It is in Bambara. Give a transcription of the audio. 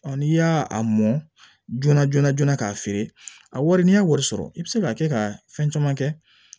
n'i y'a a mɔn joona joona joona ka feere a wari n'i y'a wari sɔrɔ i bi se ka kɛ ka fɛn caman kɛ